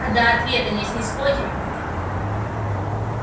а до ответа не снисходим